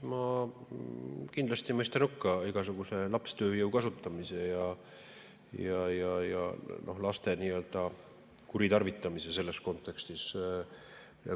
Ma kindlasti mõistan hukka igasuguse lapstööjõu kasutamise ja laste kuritarvitamise selles kontekstis.